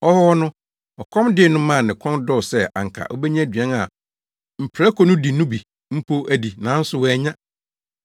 Ɔwɔ hɔ no, ɔkɔm dee no maa ne kɔn dɔɔ sɛ anka obenya aduan a mprako no di no bi mpo adi, nanso wannya.